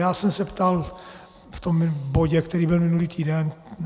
Já jsem se ptal v tom bodě, který byl minulý týden.